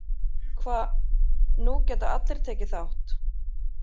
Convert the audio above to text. Hva, nú geta allir tekið þátt.